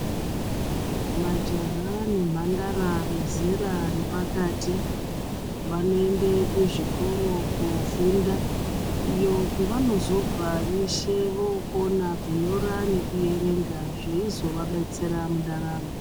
Majaha nemphandara vezera repakati vanoende kuzvikoro koofunda iyo kwevanozobva veshe vookona kunyora nekuerenga zveizovadetsera mundaramo.